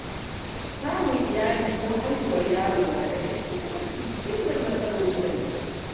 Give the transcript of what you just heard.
Samun iyali ko haihuwar yaro na daga cikin mafi girman nasarori na mutum.